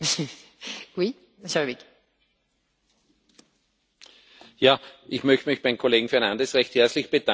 Ich möchte mich beim Kollegen Fernández recht herzlich bedanken, weil natürlich gerade dieser Aktionsplan neue Chancen für Beschäftigung gibt.